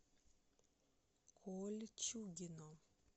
кольчугино